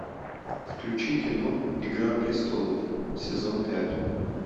включи кино игра престолов сезон пять